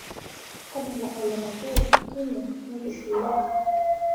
tadala ole pakuo tine neitushuli